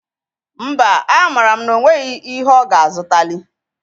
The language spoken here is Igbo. Mba, amara m na o nweghi ihi ọ ga-azụtalị.